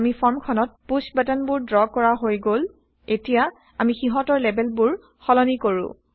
আমি160ফৰ্মখনত push button বোৰ draw কৰা হৈ গল এতিয়া160আমি সিহঁতৰ লেবেলবোৰ সলনি কৰো